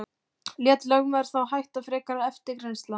Lét lögmaður þá hætta frekari eftirgrennslan.